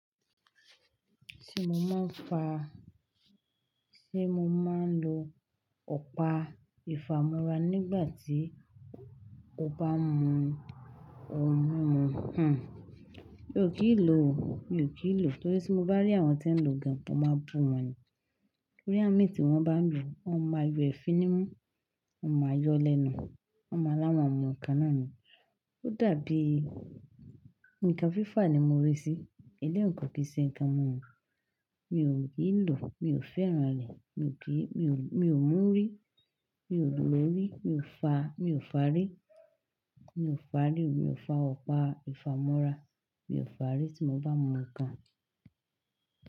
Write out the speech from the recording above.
Ti mo máa ń fa, tí mo máa ń lo ọ̀pá ìfàmorá nígbà tí ó bá mú ohun mímu, mi ò kìn lò ó, mi ò kìn lò ó. Nítorí tí mo bá rí àwọn tí ń lo gan, mo máa bu wọ́n ni. Nítorí awon mí tí wọ́n bá ń lò ó, wọ́n máa ma yọ ẹ̀fìn ní imú, wọ́n máa ma yọ lẹ́nu, wọ́n máa láwọ̀n mú ǹkan náà ni. Ó dàbí ǹkan fífà ni mo rí sí i. Ẹlẹ́yi kọ̀ kan kì ṣe ǹkan mi mumu, mi ò kì í lò, mi ò fẹ́ràn rẹ̀, mi ò kí, mi ò mú rí, mi ò lò ó rí, mi ò fàárí, mi ò fàárí, mi ò fa ọ̀pá ìfàmorá, mi ò fàárí tí mo bá mú ǹkan.